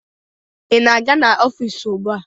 Ị na-aga n'ọfiisi ugbua?